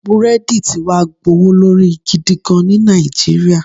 Búrèèdì ti wá gbówó lórí gidigan ní Nàìjíríyà